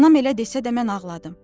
Anam elə desə də mən ağladım.